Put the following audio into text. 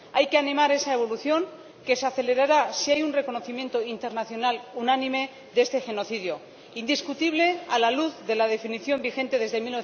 Hay que animar esa evolución, que se acelerará si hay un reconocimiento internacional unánime de este genocidio, indiscutible a la luz de la definición vigente desde